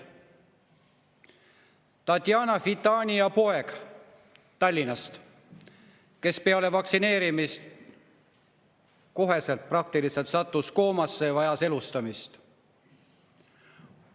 Tatjana Fitania poeg Tallinnast peale vaktsineerimist praktiliselt kohe koomasse ja vajas elustamist.